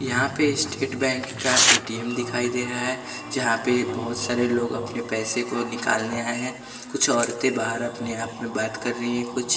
यहां पे State Bank का ए_टी_एम दिखाई दे रहा है जहां पे बहोत सारे लोग अपने पैसे को निकालने आए हैं कुछ औरते बाहर अपने आप में बात कर रही है कुछ--